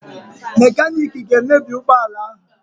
Mekaniki ga-emebi ụgbọala ahụ